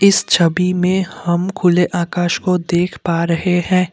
इस छवि में हम खुले आकाश को देख पा रहे हैं।